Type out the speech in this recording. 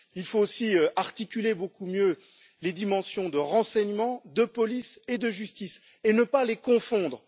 Il faut aussi articuler beaucoup mieux les dimensions de renseignement, de police et de justice, et ne pas les confondre.